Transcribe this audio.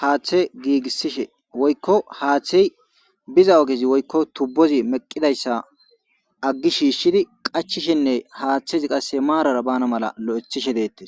haaththe giigissishe woykko haaththey biza ogezi woykko tubbozi meqqidayssa aggi shiishshidi qachishenne haaththezi qass maarara bana mala lo'ethishe deettes.